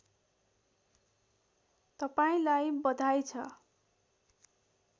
तपाईँलाई बधाई छ